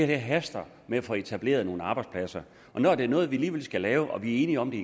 det haster med at få etableret nogle arbejdspladser når det er noget vi alligevel skal have og vi er enige om det